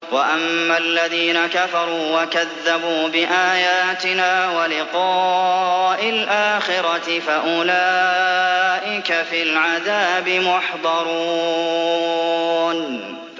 وَأَمَّا الَّذِينَ كَفَرُوا وَكَذَّبُوا بِآيَاتِنَا وَلِقَاءِ الْآخِرَةِ فَأُولَٰئِكَ فِي الْعَذَابِ مُحْضَرُونَ